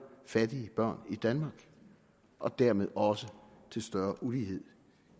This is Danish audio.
fattige børn i danmark og dermed også til større ulighed